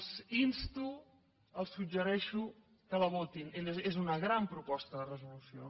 els insto els suggereixo que la votin és una gran proposta de resolució